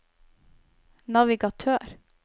navigatør